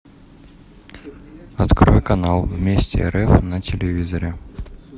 открой канал вместе рф на телевизоре